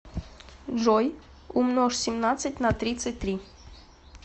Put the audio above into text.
джой умножь семнадцать на тридцать три